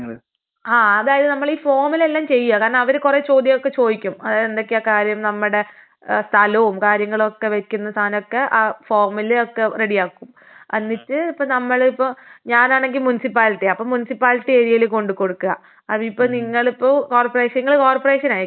ആഹ് അതായത് നമ്മളീ ഫോമിലെല്ലാം ചെയ്യാ കാരണം അവര് ചോദ്യമൊക്കെ ചോയ്ക്കും ഏഹ് എന്തൊക്കെയാ കാര്യം നമ്മടെ ഏഹ് സ്ഥലോം കാര്യങ്ങളൊക്കെ വെക്കുന്ന സാനൊക്കെ ആ ഫോമില് ഒക്കെ റെഡി ആക്കും. എന്നിട്ട് ഇപ്പൊ നമ്മളിപ്പൊ ഞാനാണെങ്കിൽ മുനിസിപ്പാലിറ്റി.അപ്പൊ മുനിസിപ്പാലിറ്റി ഏരിയയില് കൊണ്ട് കൊടുക്കാ അതിപ്പൊ നിങ്ങള് കോർപറേഷൻ നിങ്ങള് കോർപറേഷൻ ആയിരിക്കും അല്ലേ?